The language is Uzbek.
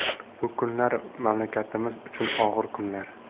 Bu kunlar mamlakatimiz uchun og‘ir kunlar.